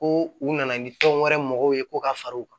Ko u nana ni tɔn wɛrɛ mɔgɔw ye ko ka far'u kan